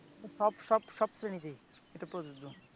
সব সব সব শ্রেণীতেই এটা প্রযোজ্য